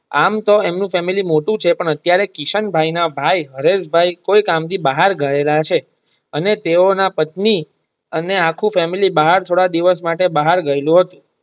આમ તો એમનું ફેમિલી મોટું છે પણ અતિયારે કિશન ભાઈ ના ભાઈ હરેશ ભાઈ કોઈ કામ થી બહાર ગયા છે અને તેઓના પત્ની અને આખું ફેમિલી બહાર થોડા દિવસ માટે બહાર ગયેલું હતું.